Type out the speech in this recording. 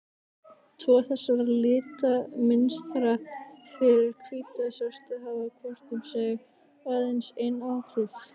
Tvö þessara litamynstra, fyrir hvítu og svörtu, hafa hvort um sig aðeins ein áhrif.